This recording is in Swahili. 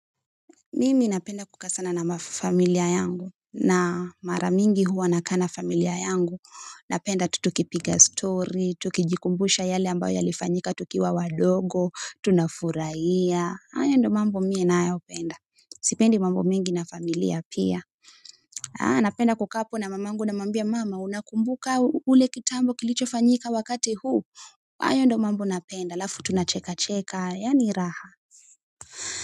Mimi napenda kukaa ana na mafamilia yangu na mara mingi huwa na kaa na familia yangu napenda tutukipiga story, tukijikumbusha yale ambayo yalifanyika tukiwa wadogo, tunafurahia hayo ndio mambo mimi ninayo yapenda, sipendi mambo mengi na familia pia napenda kukaa apo na mamangu namwambia mama unakumbuka ule kitambo kilicho fanyika wakati huu hayo ndio mambo napenda, alafu tunacheka cheka, yaani raha.